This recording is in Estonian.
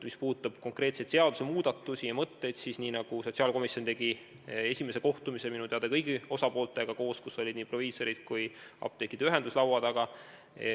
Mis puudutab konkreetseid seadusemuudatusi ja mõtteid, siis tegi sotsiaalkomisjon esimese kohtumise minu teada kõigi osapooltega koos, laua taga olid nii proviisorid kui ka apteekide ühendus.